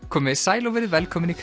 komiði sæl og verið velkomin í